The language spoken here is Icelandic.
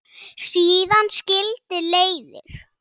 Síðan skildi leiðir.